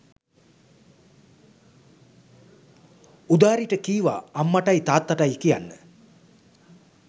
උදාරිට කීවා අම්මටයි තාත්තටයි කියන්න